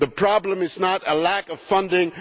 The problem is not a lack of funding.